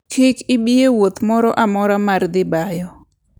Kik ibi e wuoth moro amora mar dhi bayo.